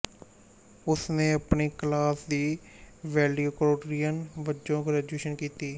ਉਸ ਨੇ ਆਪਣੀ ਕਲਾਸ ਦੀ ਵੈਲਡਿਕੋਟੋਰਿਅਨ ਵਜੋਂ ਗ੍ਰੈਜੁਏਸ਼ਨ ਕੀਤੀ